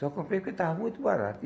Só comprei porque estava muito barato e.